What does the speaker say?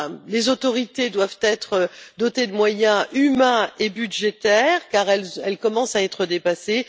Les autorités doivent être dotées de moyens humains et budgétaires car elles commencent à être dépassées.